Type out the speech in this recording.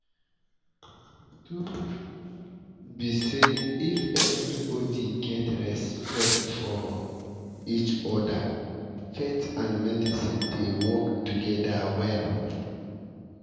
truth um be say if everybody get respect for um each other faith and medicine dey work together well